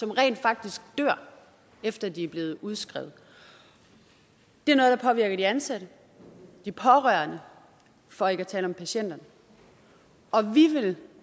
rent faktisk efter de er blevet udskrevet det er noget der påvirker de ansatte de pårørende for ikke at tale om patienterne og vi vil